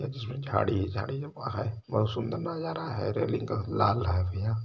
जिसमे झाड़ी ही झाड़ी हैं बहुत सुंदर नजारा हैं| रेलिंग का लाल है भैय्या।